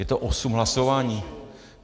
Je to osm hlasování!